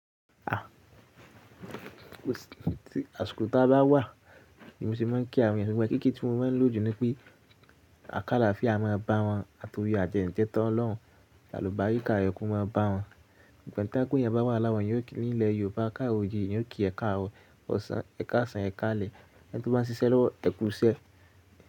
Àsiko ta bá wà, ni mo ṣe má a ń kí àwọn ènìyàn ṣùgbọ́n kíkí tí mo má a ń lò jù ni pé à kálafìá má a bá wọn, àti ore ajẹ́ ń jẹ́tan Ọlọ́run, àlùbáríkà rẹ̀ ko má a bá wọn. Ṣugbọn to jẹ pe èèyán bá wà láwọn ni ilẹ̀ Yorùbá kárọ ojire èèyàn okí ẹ̀kaarọ ọ̀sán, ẹ̀ka ọ̀sán, ẹ̀ka alẹ́ ẹ́ntí ó bá ń ṣiṣẹ́ lọ́wọ́ ẹ̀kú ṣẹ.